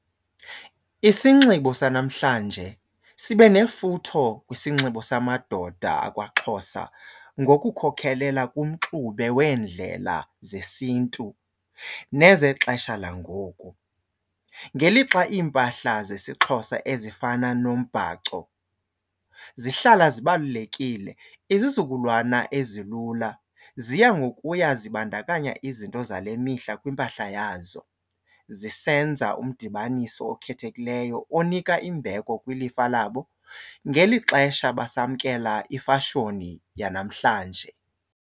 Isinxibo sanamhlanje sibe nefutho kwisinxibo samadoda akwaXhosa ngokukhokelela kumxube weendlela zesiNtu nezexesha langoku, ngelixa iimpahla zesiXhosa ezifana nombhaco zihlala zibalulekile. Izizukulwana ezilula ziya ngokuya zibandakanya izinto zale mihla kwimpahla yazo zisenza umdibaniso okhethekileyo onika imbeko kwilifa labo ngeli xesha basamkela ifashoni yanamhlanje.